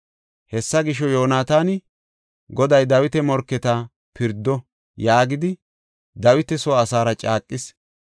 Hessa gisho, Yoonataani, “Goday Dawita morketa pirdo” yaagidi Dawita soo asaara caaqis.